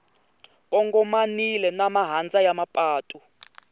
kongomanile na mahandza ya mapatu